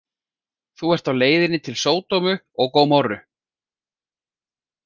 Þú ert á leiðinni til Sódómu og Gómorru.